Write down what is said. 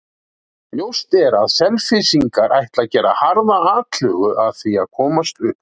Ljóst er að Selfyssingar ætla að gera harða atlögu að því að komast upp.